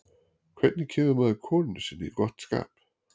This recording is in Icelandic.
hvernig kemur maður konunni sinni í gott skap